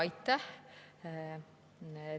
Aitäh!